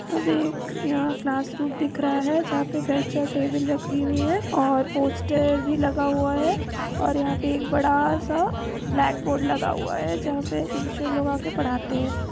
यहा पे एक क्लासरूम दिख रहा है जहा पे बेंच और टेबले रखी हुई है और पोस्टर भी लगा है और यहाँ एक बड़ासा ब्लैक बोर्ड लगा हुआ है जहाँ पे टीचर लोग पढ़ाते है।